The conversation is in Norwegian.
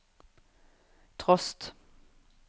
trost